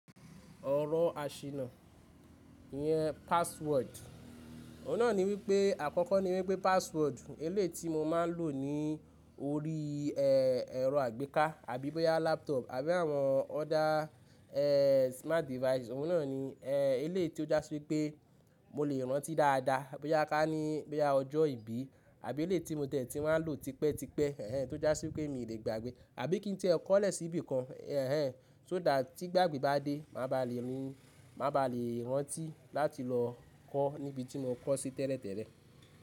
Ọ̀rọ̀ àṣìnà iyẹn password. Òun náà ni wípé àkọ́kọ́ ni wípé password eléyìí ti mo máa ń lò ní orí, ẹ, ẹ̀rọ àgbéká àbí bóyá laptop àbí àwọn other, ẹ, smart device. Òun náà ni, ẹ, elé tí ó já sí wípé mo lè rántí dáadáa bóyá ká ní bóyá ọjọ́ ìbí àbí eléyìí tí mo tẹ̀ tí máa ń lò tipẹ́ tipẹ́, ẹhen, tó já sí wípé mi lè gbàgbé. Àbí kí n ti ẹ̀ kọ́lẹ̀ sí ibìkan, ẹhen, so that tí gbàgbé bá dé, mà bá lè ri, mà bá lè rántí láti lọ kọ́ níbi tí mo kọ́ sí tẹ́lẹ̀tẹ́lẹ̀.